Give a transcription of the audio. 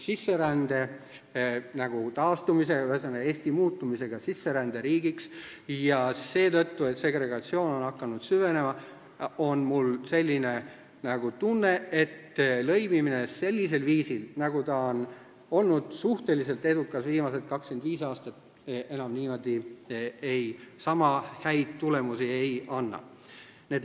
Sisserände taastumisega, ühesõnaga, Eesti muutumisega sisseränderiigiks ja seetõttu, et segregatsioon on hakanud süvenema, on mul selline tunne, et lõimimine sellisel viisil, nagu ta on olnud suhteliselt edukas viimased 25 aastat, enam sama häid tulemusi ei anna.